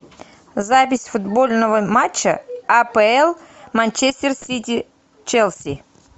запись футбольного матча апл манчестер сити челси